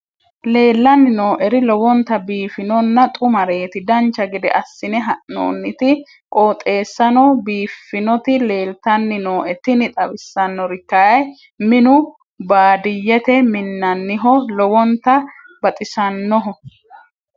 leellanni nooeri lowonta biiffinonna xumareeti dancha gede assine haa'noonniti qooxeessano biiffinoti leeltanni nooe tini xawissannori kayi minu baadiyyete minnanniho lowonta baxisannoho